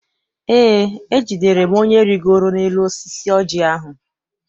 Eé, ejidere m onye rigoro n'elu osisi oji ahụ.